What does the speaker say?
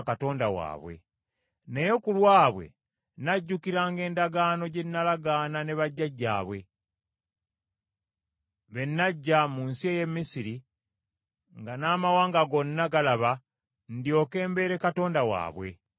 Naye ku lwabwe, najjukiranga endagaano gye nalagaana ne bajjajjaabwe, be naggya mu nsi ey’e Misiri nga n’amawanga gonna galaba ndyoke mbeere Katonda waabwe. Nze Mukama .”